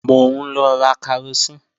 Mò ń lọ ra karosín